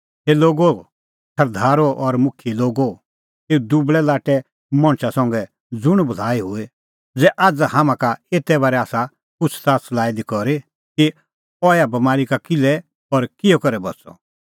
हे लोगो सरदारो और मुखियै लोगो एऊ दुबल़ै लाट्टै मणछा संघै ज़ुंण भलाई हुई ज़ै आझ़ हाम्हां का एते बारै आसा पुछ़ज़ाच़ लाई दी करी कि अह ऐहा बमारी का किल्है और किहअ करै बच़अ